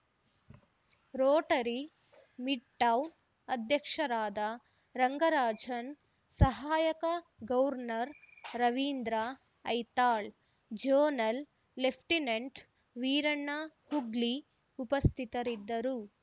Rotary Midtown ಅಧ್ಯಕ್ಷರಾದ ರಂಗರಾಜನ್‌ ಸಹಾಯಕ governor Ravindra Aithal zonal lieutenant Veeranna Hoogli ಉಪಸ್ಥಿತರಿದ್ದರು